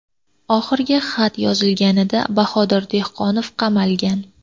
Oxirgi xat yozilganida Bahodir Dehqonov qamalgan.